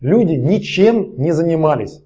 люди ничем не занимались